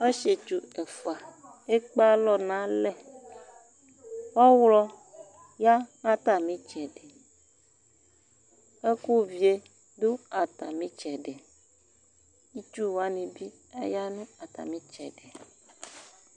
Ɔsietsu ɛfua ekpe alɔ n'alɛ, ɔɣlɔ ya n'atmitsɛdi Ɛkʋ vie dʋ atamitsɛdi, itsuwani bi dʋ atamitsɛdi